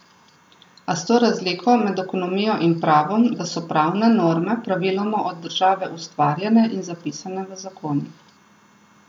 A s to razliko med ekonomijo in pravom, da so pravne norme praviloma od države ustvarjene in zapisane v zakonih.